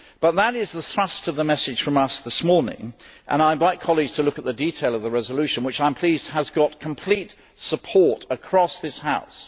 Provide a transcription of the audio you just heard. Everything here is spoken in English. That is the thrust of the message from us this morning and I invite colleagues to look at the detail of the resolution, which I am pleased has got complete support across this House.